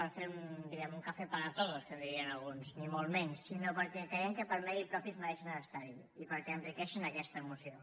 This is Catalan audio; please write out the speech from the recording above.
per fer diguem ne un café para todos que en dirien alguns ni molt menys sinó perquè creiem que per mèrit propi es mereixen estar hi i perquè enriqueixen aquesta moció